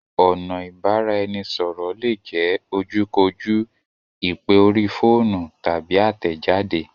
Ọ̀nà Ìbáraẹnisọ̀rọ̀ lè jẹ ojú kò jú, ìpè orí fóònù, tàbí àtẹ̀jade